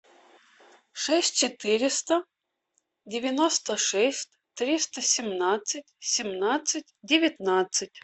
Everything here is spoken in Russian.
шесть четыреста девяносто шесть триста семнадцать семнадцать девятнадцать